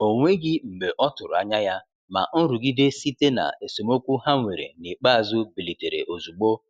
O nweghị mgbe ọtụrụ anya ya, ma nrụgide site na esemokwu ha nwere n'ikpeazụ bilitere ozugbo.